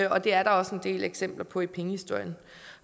og det er der også en del eksempler på i pengehistorien